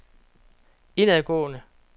indadgående